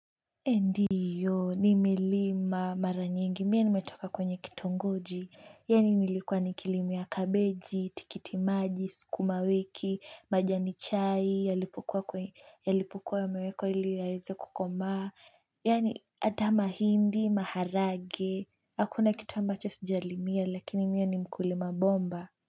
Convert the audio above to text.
Ndiyo, nimelima mara nyingi, mie nimetoka kwenye kitongoji, yaani nilikuwa nikilimia kabeji, tikiti maji, sukuma wiki, majani chai, yalipokua kwe, yalipokua yamewekwa ili yaeze kukomaa, yaani ata mahindi, maharage, hakuna kitu ambacho sijalimia lakini mie ni mkulima bomba.